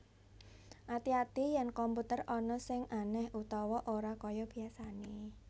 Ngati ati yèn komputer ana sing anèh utawa ora kaya biasané